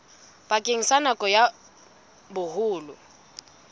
bakeng sa nako ya boholo